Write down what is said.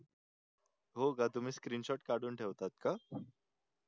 हो का तुम्ही screenshot काढून ठेवतात का?